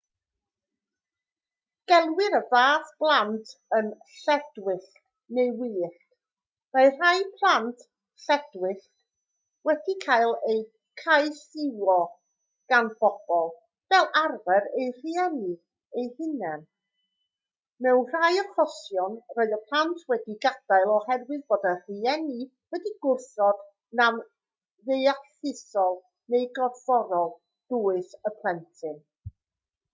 gelwir y fath blant yn lledwyllt neu wyllt. mae rhai plant lledwyllt wedi cael eu caethiwo gan bobl fel arfer eu rhieni eu hunain; mewn rhai achosion roedd y plant wedi'u gadael oherwydd bod y rhieni wedi gwrthod nam deallusol neu gorfforol dwys y plentyn